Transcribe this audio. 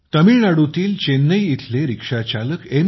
तामिळनाडूतील चेन्नई इथले ऑटोचालक एम